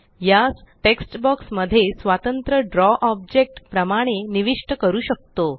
यास text box मध्ये स्वतंत्र द्रव ऑब्जेक्ट प्रमाणे निविष्ट करू शकतो